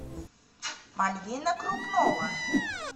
мальвина крупнова